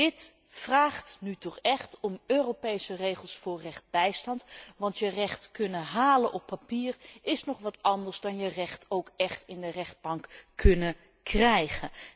Dit vraagt echt om Europese regels voor rechtsbijstand, want je recht kunnen halen op papier is nog wat anders dan je recht ook echt in de rechtbank kunnen krijgen.